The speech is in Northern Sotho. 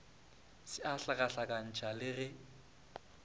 se a hlakahlakantšha le ge